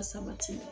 Sabati